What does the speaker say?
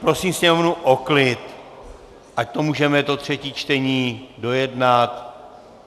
Prosím sněmovnu o klid, ať můžeme to třetí čtení dojednat.